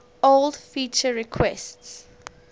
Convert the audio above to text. old feature requests